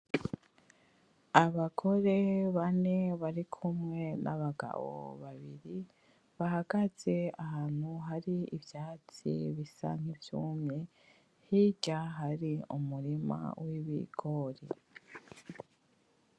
Abagore bane bari kumwe n'abagabo babiri bahagaze ahantu hari ivyatsi bisa nkivyumye hirya hari umirima wibigori.